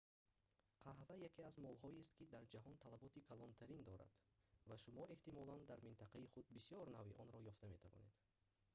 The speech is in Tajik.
қаҳва яке аз молҳоест ки дар ҷаҳон талаботи калонтарин дорад ва шумо эҳтимолан дар минтақаи худ бисёр навъи онро ёфта метавонед